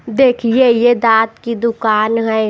देखिए यह दांत की दुकान है।